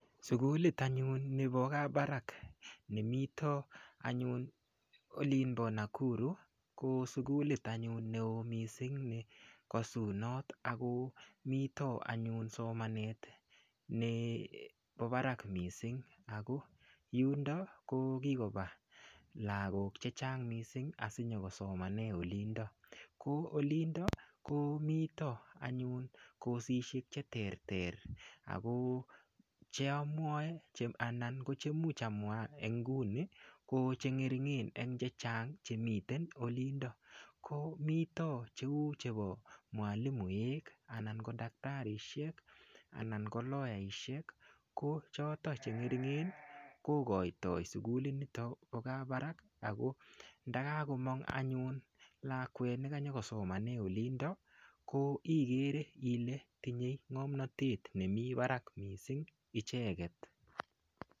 Sukulit anyun ne pa Kabarak ne mito anyun olin pa Nakuru ko sukulit anyun ne oo missing' ne kasunat ako mito anyun somanet nepo parak missing' ako yundo ko kikopa lagok che chang' missing' asi nyu ko somane olindok. Ko olindok ko mita anyun kosishek che terter ako che amwae anan ko chemuch amwa eng' nguni ko che ng'ering'en eng' che chang' che mita olindok. Ko mita chepo mwalimuek anan ko daktarishek. Anan ko loyaishek ko choton che ng'eing'en ko koitoi sukuli nitok po Kabarak ako ndaa kakomang' anyun lakwet ne kanyu kosomane olindo ikere ile tinye ng'amnatet ne mi parak icheget.